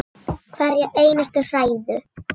Hverja einustu hræðu!